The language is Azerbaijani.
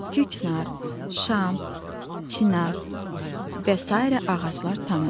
Küknar, şam, çinar və sairə ağaclar tanıdıq.